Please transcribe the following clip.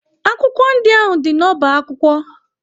Akwụkwọ ndị ahụ dị n'ọba akwụkwọ?